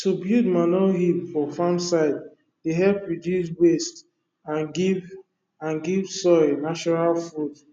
to build manure heap for farm side dey help reduce waste and give and give soil natural food